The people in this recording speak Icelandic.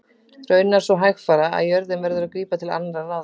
Raunar svo hægfara að jörðin verður að grípa til annarra ráða.